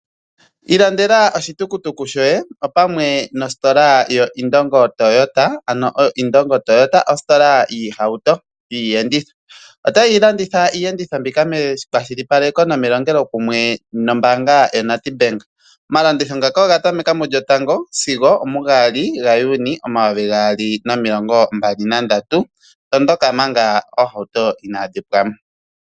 Ilandela oshitukutuku shoye opamwe nositola yoIndongo Toyota. Ano oIndongo Toyota ositola yiihauto/ yiiyenditho. Otayi landitha iiyenditho mbika mekwashilipaleko nomelongelokumwe nombaanga yaNedbank. Omalanditho ngaka oga tameka mu 1 sigo 2 Juni 2023 ,tondoka manga oohauto inaadhi pwamo.